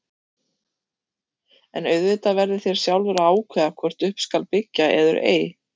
En auðvitað verðið þér sjálfur að ákveða hvort upp skal byggja eður ei.